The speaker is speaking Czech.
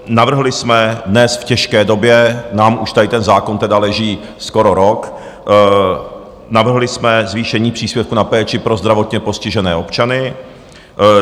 Navrhli jsme dnes, v těžké době - nám už tady ten zákon teda leží skoro rok - navrhli jsme zvýšení příspěvku na péči pro zdravotně postižené občany.